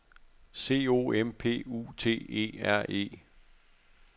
C O M P U T E R E